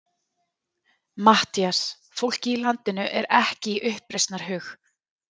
MATTHÍAS: Fólkið í landinu er ekki í uppreisnarhug.